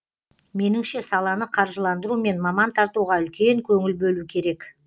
меніңше саланы қаржыландыру мен маман тартуға үлкен көңіл бөлу керек